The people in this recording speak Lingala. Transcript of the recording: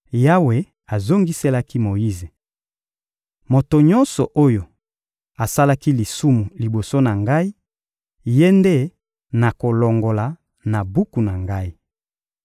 Yawe azongiselaki Moyize: — Moto nyonso oyo asalaki lisumu liboso na Ngai, ye nde nakolongola na buku na Ngai.